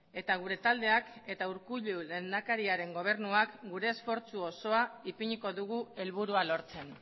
eta gure taldeak eta urkullu lehendakariaren gobernuak gure esfortzu osoa ipiniko dugu helburua lortzen